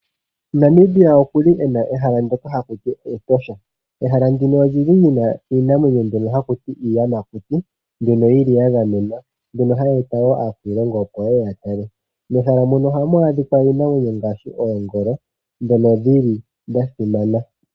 Namibia okuli ena ehala ndjoka hakutiwa Etosha, ehala ndino olili lina ii amwenyo mbyono haku iiyamakuti, mbyono yili yagamenwa mbyono hayi eta wo aakwiilongo opo yeye yatale. Mehala mono ohamu adhikwa iinamwenyo ngaashi, oongolo dhono dhili dhasimana.